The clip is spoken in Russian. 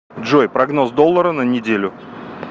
джой прогноз доллара на неделю